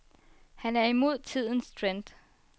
Han er imod tidens trend.